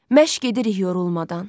Məşq edirik yorulmadan.